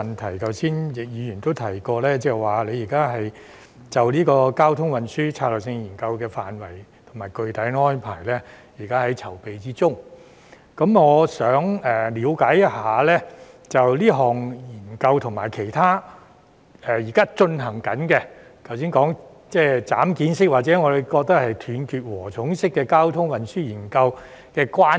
正如剛才易議員也提及，政府正制訂《交通運輸策略性研究》的範圍和具體安排，我想了解一下，這項研究與其他正進行的研究——例如剛才陳議員說的"斬件式"或我們認為是"斷截禾蟲式"交通運輸研究——有何關係？